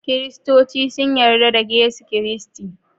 Kiristoci sun yadda da Yesu Kristi.